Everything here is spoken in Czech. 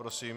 Prosím.